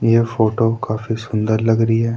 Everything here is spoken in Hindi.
यह फोटो काफी सुंदर लगरी है।